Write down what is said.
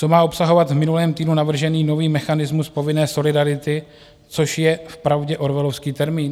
Co má obsahovat v minulém týdnu navržený nový mechanismus povinné solidarity, což je vpravdě orwellovský termín?